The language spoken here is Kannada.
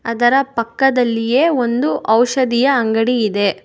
ಅದರ ಪಕ್ಕದಲ್ಲಿಯೇ ಒಂದು ಔಷಧಿಯ ಅಂಗಡಿ ಇದೆ.